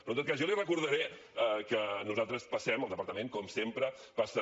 però en tot cas jo li recordaré que nosaltres passem el departament com sempre passa